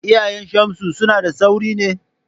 Iyayen Shamsu suna da tsauri ne?